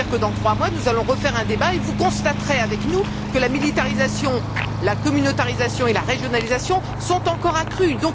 C'est à dire que dans trois mois nous allons refaire un débat et vous constaterez avec nous que la militarisation, la communautarisation et la régionalisation se sont encore accrues.